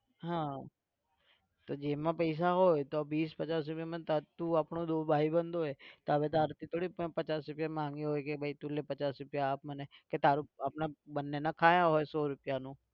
હા તો જેબમાં પૈસા હોય તો બીસ પચાસ રૂપિયામાં તું આપણો ભાઈબંધ હોય તો તારાથી થોડી પચાસ રૂપિયા માંગ્યા હોય કે ભાઈ તું લે પચાસ રૂપિયા આપ મને કે તારે આપણા બંનેને ખાધું હોય સો રૂપિયાનું.